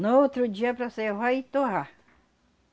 No outro dia para servar e torrar.